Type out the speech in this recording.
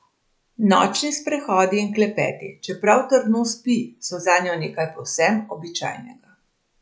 Nočni sprehodi in klepeti, čeprav trdno spi, so zanjo nekaj povsem običajnega.